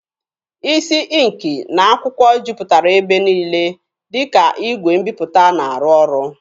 Isi ịnkị na akwụkwọ jupụtara ebe niile, dịka igwe mbiputa na-arụ ọrụ.